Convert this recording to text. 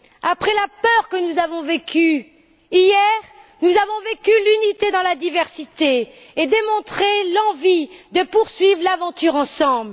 Après la peur que nous avons vécue, hier nous avons vécu l'unité dans la diversité et démontré l'envie de poursuivre l'aventure ensemble.